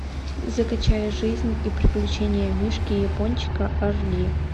закачай жизнь и приключения мишки япончика аш ди